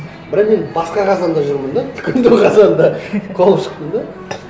бірақ енді басқа қазанда жүрмін де үлкендеу қазанда қуалап шықтым да